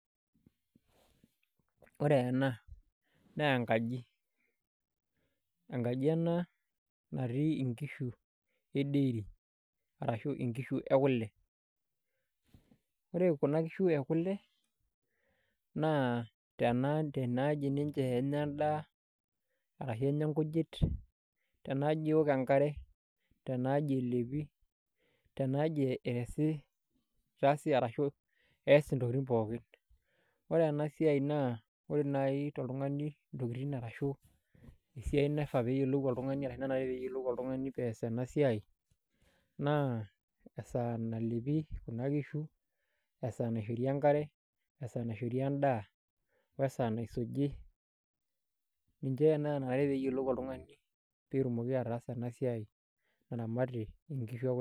Ore ena naa enkaji , enkaji ena natii inkishu edairy arashu inkishu ekule naa tenaaji tadekenya endaa ashu inkujit , tenaaji eok enkare , tenaaji elepi , tenaaji ees intokitin pookin . Ore enasiai naa ore naji toltungani pees enasiai naa ingas ayiolou esaa naishori kuna kishu enkare , esaa naishori endaa , wesaa naisuji ninche nanare peyiolou oltungani petumoki ataasa enasiai.